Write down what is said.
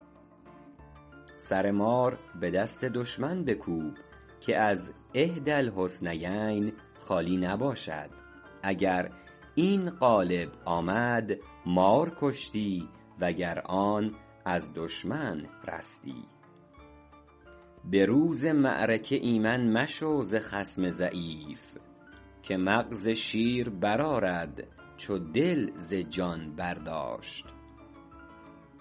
سر مار به دست دشمن بکوب که از احدی الحسنیین خالی نباشد اگر این غالب آمد مار کشتی و گر آن از دشمن رستی به روز معرکه ایمن مشو ز خصم ضعیف که مغز شیر برآرد چو دل ز جان برداشت